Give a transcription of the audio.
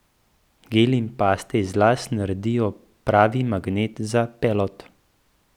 Geli in paste iz las naredijo pravi magnet za pelod.